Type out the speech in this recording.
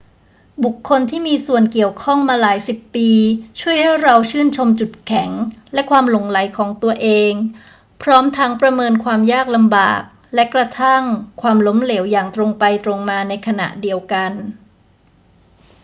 บุคคลที่มีส่วนเกี่ยวข้องมาหลายสิบปีช่วยให้เราชื่นชมจุดแข็งและความหลงใหลของตัวเอง พร้อมทั้งประเมินความยากลำบากและกระทั่งความล้มเหลวอย่างตรงไปตรงมาในขณะเดียวกัน